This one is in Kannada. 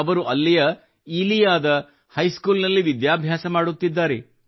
ಅವರು ಅಲ್ಲಿಯ ಇಲಿಯಾದ ಹೈಸ್ಕೂಲ್ ನಲ್ಲಿ ವಿದ್ಯಾಭ್ಯಾಸ ಮಾಡುತ್ತಿದ್ದಾರೆ